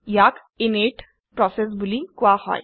ইয়াক init process বুলি কোৱা হয়